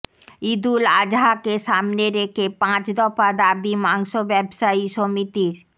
ঈদুল আজহাকে সামনে রেখে পাঁচ দফা দাবি মাংস ব্যবসায়ী সমিতির